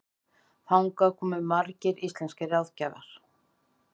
Þangað komu margir íslenskir ráðgjafar.